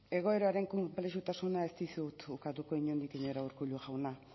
egoeraren konplexutasuna ez dizut ukatuko inondik inora urkullu jauna